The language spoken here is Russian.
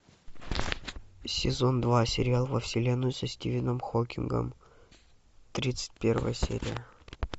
сезон два сериал во вселенную со стивеном хокингом тридцать первая серия